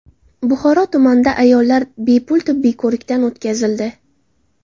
Buxoro tumanida ayollar bepul tibbiy ko‘rikdan o‘tkazildi.